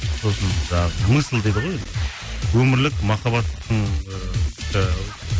сосын жаңағы мысль дейді ғой өмірлік махаббаттың ыыы